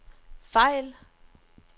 fejl